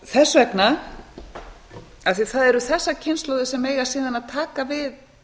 þess vegna af því að það eru þessir kynslóðir sem eiga síðan að taka við